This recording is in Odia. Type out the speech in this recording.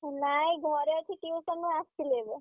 ନାଇଁ ଘରେ ଅଛି। tuition ରୁ ଆସିଲି ଏବେ।